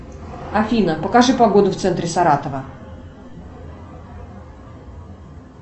афина покажи погоду в центре саратова